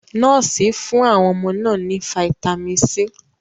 Nọ́ọ̀sì fún àwọn ọmọ náà ní fáítámínì C.